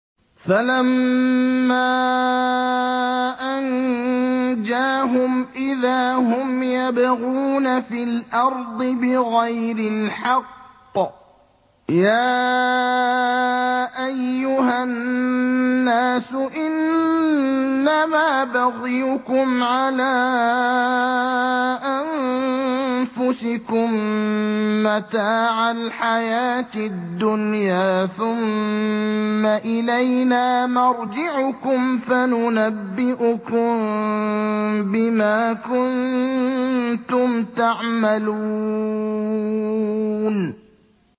فَلَمَّا أَنجَاهُمْ إِذَا هُمْ يَبْغُونَ فِي الْأَرْضِ بِغَيْرِ الْحَقِّ ۗ يَا أَيُّهَا النَّاسُ إِنَّمَا بَغْيُكُمْ عَلَىٰ أَنفُسِكُم ۖ مَّتَاعَ الْحَيَاةِ الدُّنْيَا ۖ ثُمَّ إِلَيْنَا مَرْجِعُكُمْ فَنُنَبِّئُكُم بِمَا كُنتُمْ تَعْمَلُونَ